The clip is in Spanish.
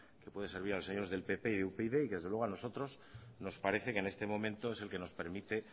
que puede servir a los señores del pp y upyd y desde luego a nosotros nos parece que en este momento es el que nos permite